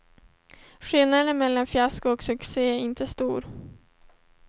Skillnaden mellan fiasko och succé är inte stor.